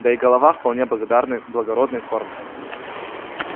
да и голова вполне благодарной благородной формы